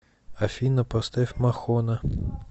афина поставь мохона